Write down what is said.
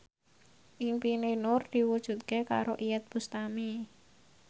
impine Nur diwujudke karo Iyeth Bustami